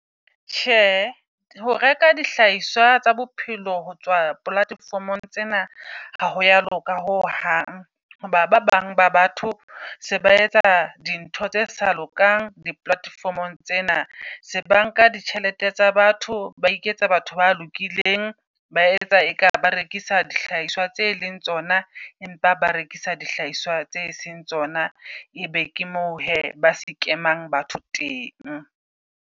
Tjhe, ho reka dihlahiswa tsa bophelo ho tswa platformgong tsena ha hoya loka ho hang. Hoba ba bang ba batho se ba etsa di ntho tse sa lokang di platform-ong tsena. Banka di tjhelete tsa batho ba iketsa batho ba lokileng, ba etsa eka ba rekisa dihlahiswa tse leng tsona. Empa ba rekisa dihlahiswa tse seng tsona. E be ke mo hee, ba scam-amang batho teng.